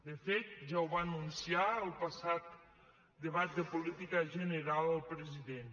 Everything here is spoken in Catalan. de fet ja ho va anunciar al passat debat de política general el president